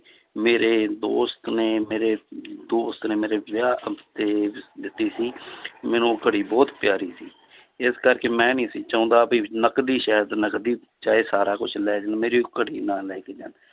ਮੇਰੇ ਦੋਸਤ ਨੇ ਮੇਰੇ ਦੋਸਤ ਨੇ ਮੇਰੇ ਵਿਆਹ ਉੱਤੇ ਦਿੱਤੀ ਸੀ ਮੈਨੂੰ ਉਹ ਘੜੀ ਬਹੁਤ ਪਿਆਰੀ ਸੀ, ਇਸ ਕਰਕੇ ਮੈਂ ਨੀ ਸੀ ਚਾਹੁੰਦਾ ਵੀ ਨਕਦੀ ਸ਼ਾਇਦ ਨਕਦੀ ਚਾਹੇ ਸਾਰਾ ਕੁਛ ਲੈ ਜਾਣ ਮੇਰੀ ਉਹ ਘੜੀ ਨਾ ਲੈ ਕੇ ਜਾਣ